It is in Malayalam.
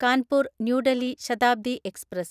കാൻപൂർ ന്യൂ ഡെൽഹി ശതാബ്ദി എക്സ്പ്രസ്